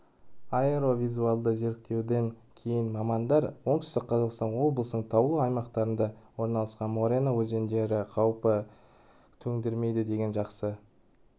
аэровизуальді зерттеуден кейін мамандар оңтүстік қазақстан облысының таулы аймақтарында орналасқан морена өзендері қауіп төндірмейді деген жақсы